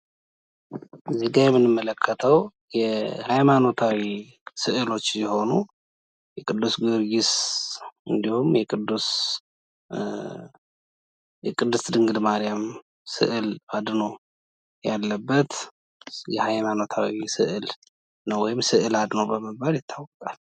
እዚህጋ የምንመለከተው የሀይማኖታዊ ስዕሎች ሲሆኑ የቅዱስ ጊዮርጊስ እንዲሁም የቅድስት ድግል ማርያም ስዕል አድኖ ያለበት የሀይማኖታዊ ስዕል ነው። ወይም ስዕል አድኖ በመባል ንታወቃል።